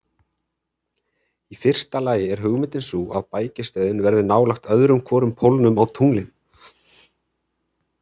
Í fyrsta lagi er hugmyndin sú að bækistöðin verði nálægt öðrum hvorum pólnum á tunglinu.